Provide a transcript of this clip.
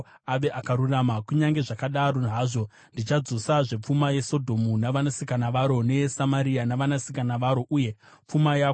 “ ‘Kunyange zvakadaro hazvo, ndichadzosazve pfuma yeSodhomu navanasikana varo neyeSamaria navanasikana varo, uye pfuma yako pamwe chete navo,